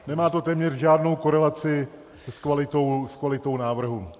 Nemá to téměř žádnou korelaci s kvalitou návrhu.